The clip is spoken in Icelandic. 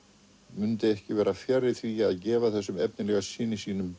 mundi ekki vera fjarri því að gefa þessum efnilega syni sínum